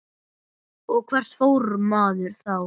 Og hvert fór maður þá?